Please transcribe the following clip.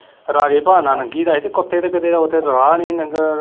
ਰਾਜੇ ਭਾਅ ਨਾਲ ਲੰਘੀ ਤਾਂ ਹੈ ਸੀ ਕੁੱਤੇ ਤਾਂ ਕਦੇ ਓਦੇ ਰਾਹ ਨੀ ਲੰਘ।